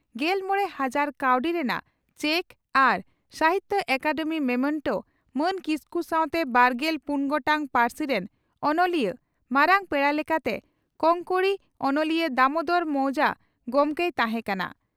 ᱜᱮᱞᱢᱚᱬᱮ ᱦᱟᱡᱟᱨ ᱠᱟᱣᱰᱤ ᱨᱮᱱᱟᱜ ᱪᱮᱠ ᱟᱨ ᱥᱟᱦᱤᱛᱭᱚ ᱟᱠᱟᱫᱮᱢᱤ ᱢᱚᱢᱮᱱᱴᱚ ᱢᱟᱱ ᱠᱠᱤᱥᱠᱩ ᱥᱟᱣᱛᱮ ᱵᱟᱨᱜᱮᱞ ᱯᱩᱱ ᱜᱚᱴᱟᱝ ᱯᱟᱹᱨᱥᱤ ᱨᱮᱱ ᱚᱱᱚᱞᱤᱭᱟᱹ ᱢᱟᱨᱟᱝ ᱯᱮᱲᱟ ᱞᱮᱠᱟᱛᱮ ᱠᱚᱝᱠᱚᱬᱤ ᱚᱱᱚᱞᱤᱭᱟᱹ ᱫᱟᱢᱚᱫᱚᱨ ᱢᱚᱣᱡᱟ ᱜᱚᱢᱠᱮᱭ ᱛᱟᱦᱮᱸ ᱠᱟᱱᱟ ᱾